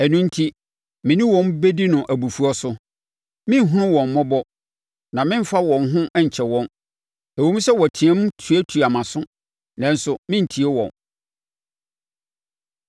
Ɛno enti, me ne wɔn bɛdi no abufuo so. Merenhunu wɔn mmɔbɔ, na meremfa wɔn ho nkyɛ wɔn. Ɛwom sɛ wɔteam tuatua mʼaso, nanso merentie wɔn.”